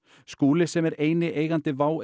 Skúli sem er eini eigandi WOW